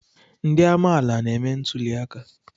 Ndị amaala na-eme ntuli aka.